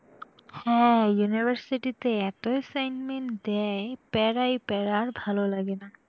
হ্যাঁ university তে এত assignment দেয় প্যারাই প্যারা আর ভালো লাগে না।